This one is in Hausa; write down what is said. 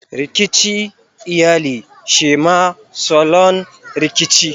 Rikici iyali shema salon Rikici.